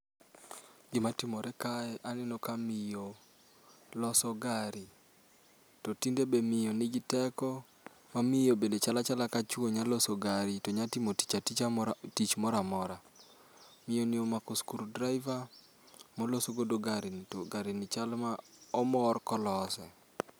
Gima timore kae aneno ka miyo loso gari. To tinde be miyo nigi teko mamiyo bende chal achala ka chuo nyalo loso gari to nyalo timo tich moro amora. Miyoni omako screw driver moloso godo garini to garini chalo ma omor kolose